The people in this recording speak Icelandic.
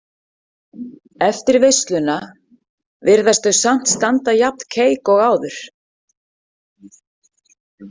Eftir veisluna virðaust þau samt standa jafn keik og áður.